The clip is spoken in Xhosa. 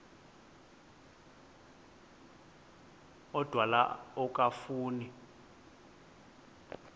odwa la okafuna